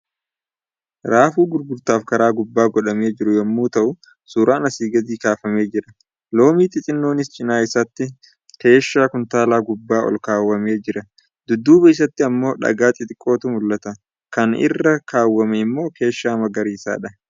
Raafuu gurgurtaaf karaa gubbaa godhamee jiru yommuu ta'u, suraan asii gadi kaafamee jira. Loomii xixinnoonis cinaa isaatti keeshaa kuntaalaa gubbaa olkaawwamee jira. Dudduuba isaatti immoo dhagaa xixiqqootu mul'ata. Kan inni rra kaawwame immoo keeshaa magariisadha.